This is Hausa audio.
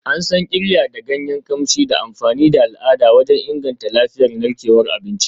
An san Qirya da ganyen kamshi da amfani da al'ada wajen inganta lafiyar narkewar abinci.